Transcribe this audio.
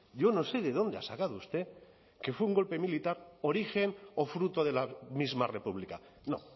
yo no sé de dónde ha sacado usted que fue un golpe militar origen o fruto de la misma república no